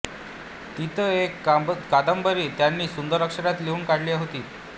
तीत एक कादंबरी त्यांनी सुंदर अक्षरात लिहून काढली होती